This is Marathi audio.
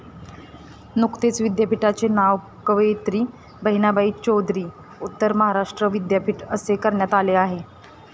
नुकतेच विद्यापिठाचे नाव कवयीत्री बहिणाबाई चौधरी उत्तर महाराष्ट्र विद्यापीठ असे करण्यात आलेले आहे.